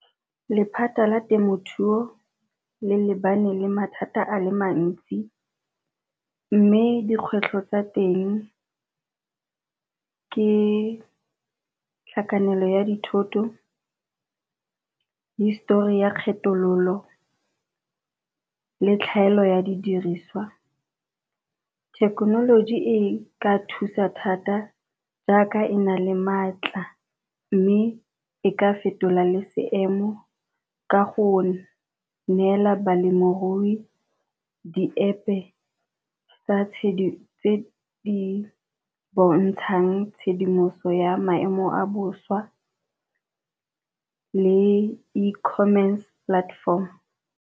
Lephata la temothuo le lebane le mathata a le mantsi mme dikgwetlho tsa teng ke tlhakanelo ya dithoto, histori ya kgethololo, le tlhaelo ya di dirisiwa. Thekenoloji e ka thusa thata jaaka e na le maatla, mme e ka fetola le seemo ka go neela balemirui di-App-e tse di bontshang tshedimoso ya maemo a bosa le e-commerce platform.